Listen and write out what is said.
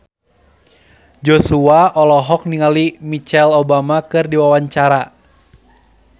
Joshua olohok ningali Michelle Obama keur diwawancara